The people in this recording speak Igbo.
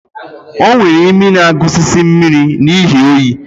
O nwere imi na-agusisi mmiri n'ihi oyi